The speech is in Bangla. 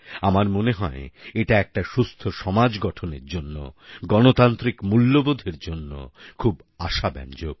আমার মনে হয় এটা একটা সুস্থ সমাজ গঠনের জন্য গণতান্ত্রিক মূল্যবোধের জন্য খুব আশাব্যঞ্জক